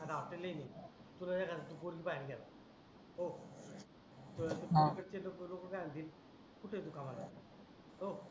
आता हॉटेलिन आहे तुला एखादा तु एखादी पोरगी पाहाला गेला हो तुला हा पोरी कडचे लोक काय म्हणतील कुठे आहे तु कामाला हो